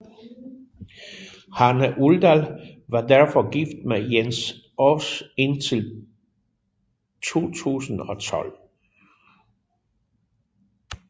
Hanne Uldal var derefter gift med Jens Aas indtil 2012